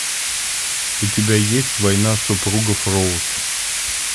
у тебя есть война супругов роуз